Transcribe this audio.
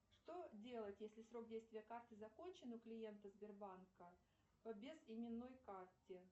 что делать если срок действия карты закончен у клиента сбербанка по без именной карте